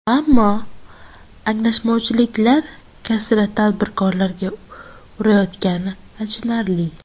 Ammo anglashilmovchiliklar kasri tadbirkorlarga urayotgani achinarli.